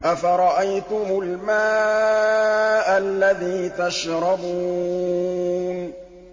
أَفَرَأَيْتُمُ الْمَاءَ الَّذِي تَشْرَبُونَ